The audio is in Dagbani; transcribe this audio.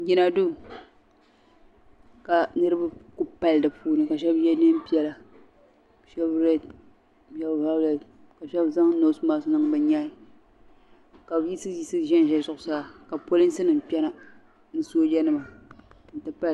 Jina duu ka niribi kuli pali din ni bɛ ʒimi ka ye nɛɛn piɛla shɛb reed shɛbi vaawulet ka shɛb zaŋ noosi masks niŋ bɛ nyahi ka bi yiɣisiyiɣisi ʒe zuɣu saa ka polinsinima kpe na ni soojanim n ti pahi.